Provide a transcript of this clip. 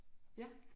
Ja